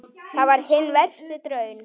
Þar var hinn versti daunn.